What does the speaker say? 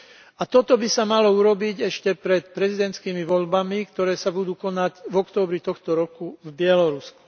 A toto by sa malo urobiť ešte pred prezidentskými voľbami, ktoré sa budú konať v októbri tohto roku v Bielorusku.